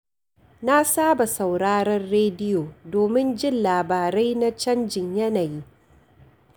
Na saba sauraron rediyo domin jin labarai na canjin yanayi.